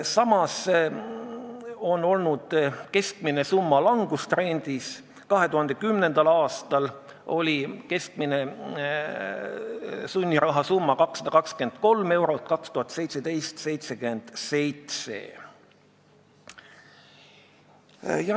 Samas on olnud keskmine summa langustrendis, 2010. aastal oli keskmine sunniraha summa 223 eurot, 2017. aastal 77.